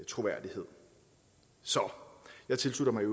troværdighed så jeg tilslutter mig i